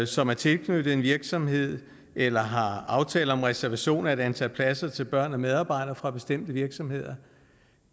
som er tilknyttet en virksomhed eller har aftaler om reservation af et antal pladser til børn og medarbejdere fra bestemte virksomheder